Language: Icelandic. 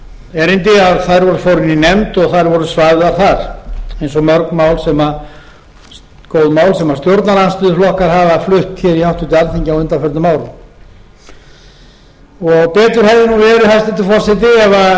erindi að þær fóru inn í nefnd og þær voru svæfðar þar eins og mörg góð mál sem stjórnarandstöðuflokkar hafa flutt hér í háttvirtu alþingi á undanförnum árum betur hefði verið hæstvirtur forseti ef